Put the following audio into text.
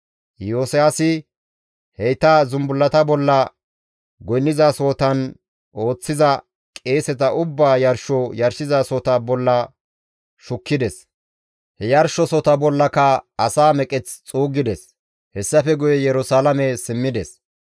Iyosiyaasi heyta zumbullata bolla goynnizasohotan ooththiza qeeseta ubbaa yarsho yarshizasohota bolla shukkides; he yarshosohota bollaka asa meqeth xuuggides; hessafe guye Yerusalaame simmides.